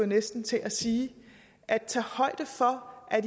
næsten til at sige at tage højde for at